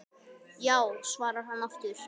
Já svarar hann aftur.